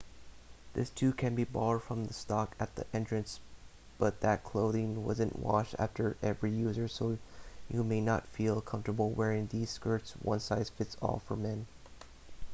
this too can be borrowed from the stock at the entrance but that clothing isn't washed after every user so you may not feel comfortable wearing these skirts one size fits all for men